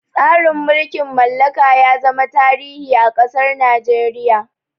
Tsarin mulkin mallaka ya zama tarihi a ƙasar Nigeria.